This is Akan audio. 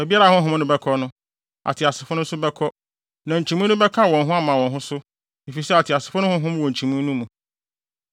Baabiara a honhom no bɛkɔ no, ateasefo no nso bɛkɔ, na nkyimii no bɛka wɔn ho ama wɔn ho so, efisɛ ateasefo no honhom wɔ nkyimii no mu.